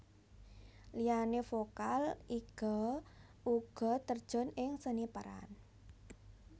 Liyane vokal Iga uga terjun ing seni peran